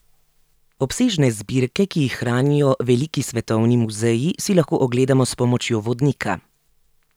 Obsežne zbirke, ki jih hranijo veliki svetovni muzeji, si lahko ogledamo s pomočjo vodnika.